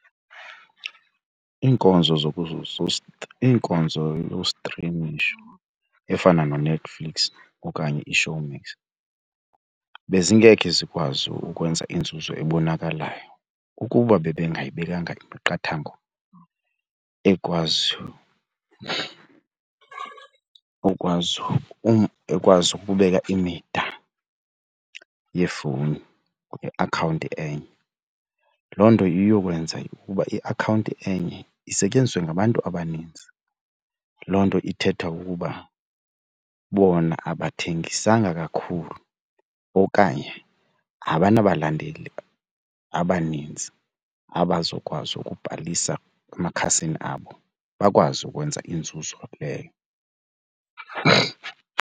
Inkonzo zokuzosuza, iinkonzo yostrimisho efana nooNetflix okanye iShowmax bezingeke zikwazi ukwenza inzuzo ebonakalayo ukuba bebengayibekanga imiqathango ekwaziyo ekwazi ekwazi ukubeka imida yefowuni ngeakhawunti enye. Loo nto iyokwenza ukuba iakhawunti enye isetyenziswe ngabantu abaninzi. Loo nto ke ithetha ukuba bona abathengisanga kakhulu okanye abanabalandeli abaninzi abazokwazi ukubhalisa emakhasini abo bakwazi ukwenza inzuzo leyo.